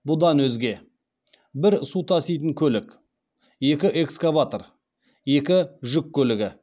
бұдан өзге бір су таситын көлік екі экскаватор екі жүк көлігі